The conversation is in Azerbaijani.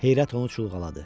Heyrət onu çulğaladı.